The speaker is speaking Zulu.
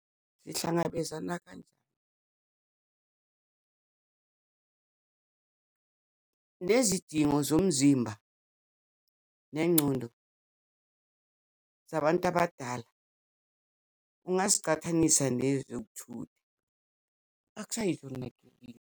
Zihlangabezana kanjani nezidingo zomzimba nengcondo zabantu abadala? Ungazicathanisa nezokuthutha akusayi .